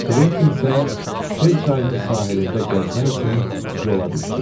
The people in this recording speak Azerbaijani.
Kventin isə Şer çayının sahilində gəzmək üçün yola düşdü.